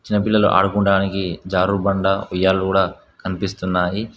చిన్న పిల్లలు ఆడుకున్డానికి జారుడు బండ ఉయ్యాల గూడా కనిపిస్తున్నాయి.